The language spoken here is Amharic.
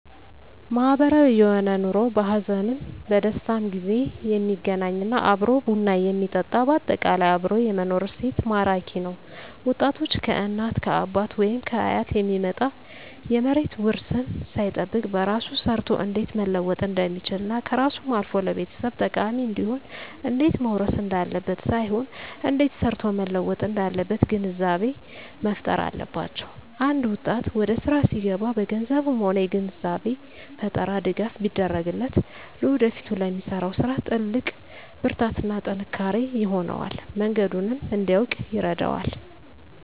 ማህበራዊ የሆነ ኑሮ በሀዘንም በደስታም ጊዜ የሚገናኝ እና አብሮ ቡና የሚጠጣ በአጠቃላይ አብሮ የመኖር እሴት ማራኪ ነዉ ወጣቶች ከእናት ከአባት ወይም ከአያት የሚመጣ የመሬት ዉርስን ሳይጠብቅ በራሱ ሰርቶ እንዴት መለወጥ እንደሚችልና ከራሱም አልፎ ለቤተሰብ ጠቃሚ እንዲሆን እንዴት መዉረስ እንዳለበት ሳይሆን እንዴት ሰርቶ መለወጥ እንዳለበት ግንዛቤ መፋጠር አለባቸዉ አንድ ወጣት ወደስራ ሲገባ በገንዘብም ሆነ የግንዛቤ ፈጠራ ድጋፍ ቢደረግለት ለወደፊቱ ለሚሰራዉ ስራ ትልቅ ብርታትና ጥንካሬ ይሆነዋል መንገዱንም እንዲያዉቅ ይረዳዋል